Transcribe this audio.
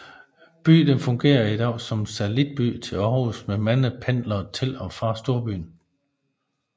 Byen fungerer i dag som satellitby til Aarhus med mange pendlere til og fra storbyen